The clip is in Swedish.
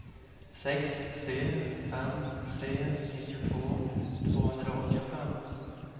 sex tre fem tre nittiotvå tvåhundraåttiofem